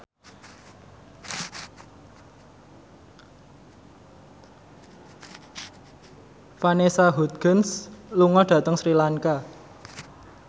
Vanessa Hudgens lunga dhateng Sri Lanka